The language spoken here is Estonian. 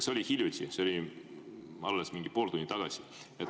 See oli hiljuti, see oli alles mingi pool tundi tagasi.